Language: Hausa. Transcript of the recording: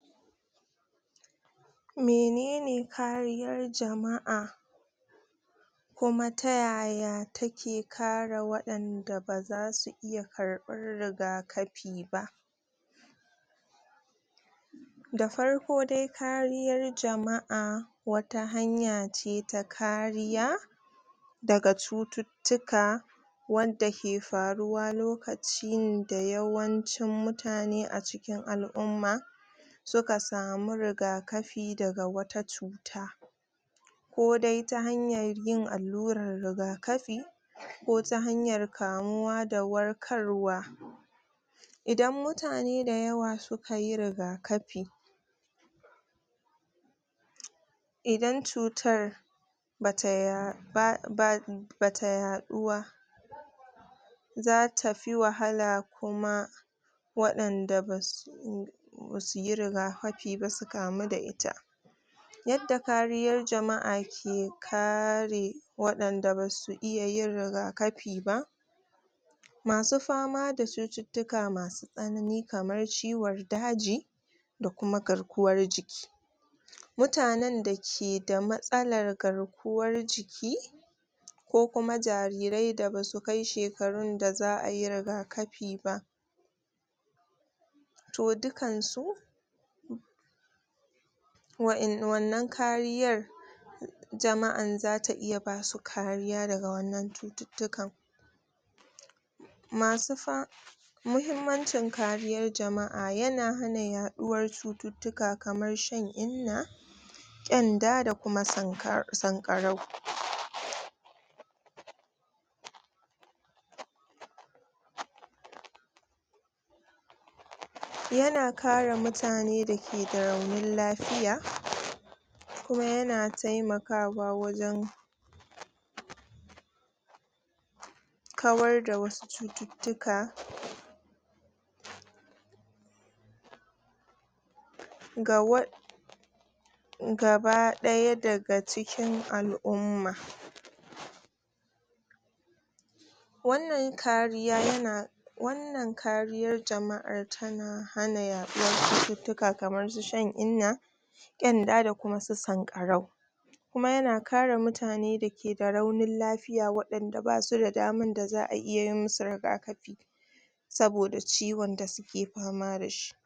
Menene kariyar jama'a Kuma ta yaya take kare wadanda ba zasu iya karbar rigakafi ba! Da farko dai kariyar jama'a Wata hanya ce ta kariya Daga cuttutuka Wanda ke faruwa lokacin da Yawancin mutane a cikin al'umma Suka sami rigakafi daga wata cuta Kodai ta hanyar yin allurar rigakafi Ko ta hanyar kamuwa da warkar wa Idan mutane da yawasukayi rigakafi Idan cutar Bata yaɗu ba Bata yaɗu wa Zata fi wahala Kuma Wadanda basu Basuyi rigakafi ba su kamu ta ita Yadda kariyar jama'a ke kare Wadanda basu iya yin rigakafi ba! Masu fama da cuttutuka Masu tsanani kamar ciwon daji Da kuma garkuwar jiki MUtanen da keda matsalar garkuwar jiki Ko kuma jariran da basu kai shekarun da za'ai rigakafi ba To dukan su Wannan kariyar, Jama'an zata iya basu kariya daga wannan cuttutukan Masu Muhimmancin kariyar jama'a yana hana yaɗuwar Cuttutuka kamar shan inna ƙenda da kuma sanƙarau Yana kare mutane dake da raunin lafiya Kuma yana taimakawa wajen Kawar da wasu Cuttutuka Ga Gaba ɗaya daga cikin al'umma Wannan kariya yana Wannan kariyar jama'ar tana hana yaɗuwarcuttutuka kamar su shan inna ƙenda da kuma su sanƙarau Kuma yana kare mutane da keda raunin lafiya wadanda basu da daman da za'a iya masu rigakafi Saboda ciwon da suke fama dashi